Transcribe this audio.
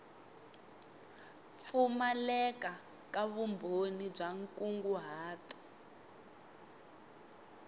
pfumaleka ka vumbhoni bya nkunguhato